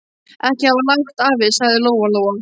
Ekki hafa hátt, afi, sagði Lóa-Lóa.